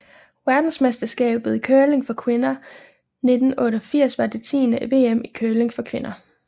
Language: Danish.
Verdensmesterskabet i curling for kvinder 1988 var det tiende VM i curling for kvinder